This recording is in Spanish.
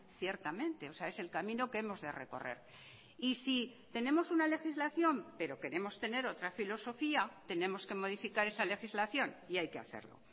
ciertamente o sea es el camino que hemos de recorrer y si tenemos una legislación pero queremos tener otra filosofía tenemos que modificar esa legislación y hay que hacerlo